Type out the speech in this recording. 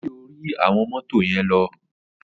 O yẹ ki ori awọn moto yen lọ.